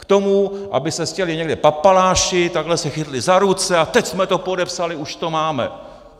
K tomu, aby se sjeli někde papaláši, takhle se chytli za ruce - a teď jsme to podepsali, už to máme.